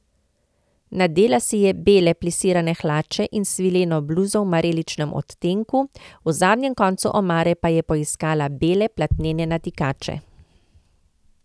Nadela si je bele plisirane hlače in svileno bluzo v mareličnem odtenku, v zadnjem koncu omare pa je poiskala bele platnene natikače.